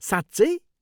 साँच्चै!?